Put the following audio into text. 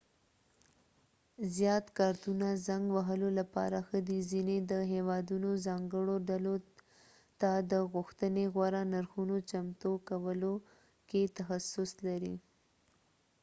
زيات کارتونه زنګ وهلو لپاره ښه دې ځینې د هیوادونو ځانګړو ډلو ته د غوښتنې غوره نرخونو چمتو کولو کې تخصص لري